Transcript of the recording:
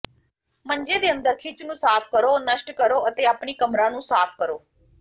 ਮੰਜੇ ਦੇ ਅੰਦਰ ਖਿੱਚ ਨੂੰ ਸਾਫ਼ ਕਰੋ ਨਸ਼ਟ ਕਰੋ ਅਤੇ ਆਪਣੀ ਕਮਰਾ ਨੂੰ ਸਾਫ਼ ਕਰੋ